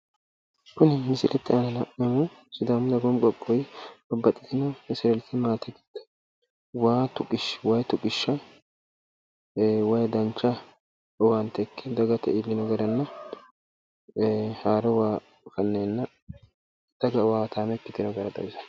Kunni misilete aanna la'nayihu sidaamu dagoomu qoqowi babbaxitino latishi gido wayi tuqisha wayi dancha owaante ikke daggate iilino gedenna haaro waa faneenna daga owaataame ikkitinota xawissanno.